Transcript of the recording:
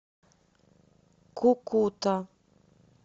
кукута